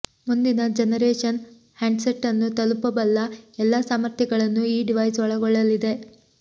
ಮುಂದಿನ generation handset ಅನ್ನು ತಲುಪಬಲ್ಲ ಎಲ್ಲಾ ಸಾಮರ್ಥ್ಯಗಳನ್ನು ಈ ಡಿವೈಸ್ ಒಳಗೊಳ್ಳಲಿದೆ